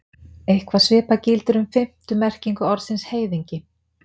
Eitthvað svipað gildir um fimmtu merkingu orðsins heiðingi.